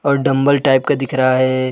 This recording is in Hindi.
और डंबल टाइप का दिख रहा है।